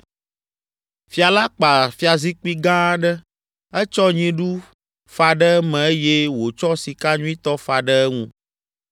Fia la kpa fiazikpui gã aɖe. Etsɔ nyiɖu fa ɖe eme eye wòtsɔ sika nyuitɔ fa ɖe eŋu.